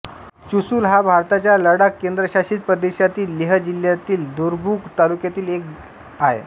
चुसूल हा भारताच्या लडाख केंद्रशासित प्रदेशातील लेह जिल्हातील दुरबुक तालुक्यातील एक आहे